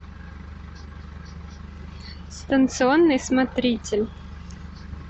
станционный смотритель